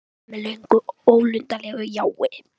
Ég svaraði með löngu og ólundarlegu jái.